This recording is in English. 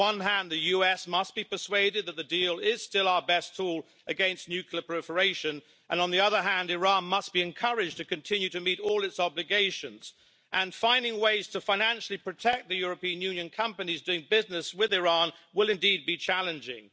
On the one hand, the US must be persuaded that the deal is still our best tool against nuclear proliferation, and on the other hand, Iran must be encouraged to continue to meet all its obligations. Finding ways to financially protect the European Union companies doing business with Iran will indeed be challenging.